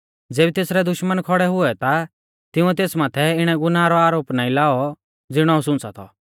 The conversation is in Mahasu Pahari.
ज़ेबी तेसरै दुश्मना खौड़ै हुऐ ता तिंउऐ तेस माथै इणै गुनाहा रौ आरोप नाईं लाऔ ज़िणौ हाऊं सुंच़ा थौ